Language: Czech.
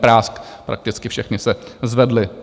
Prásk, prakticky všechny se zvedly.